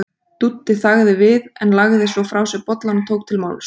Dúddi þagði við en lagði svo frá sér bollann og tók til máls